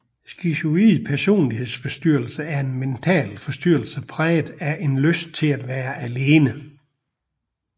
Skizoid personlighedsforstyrrelse er en mental forstyrrelse præget af en lyst til at være alene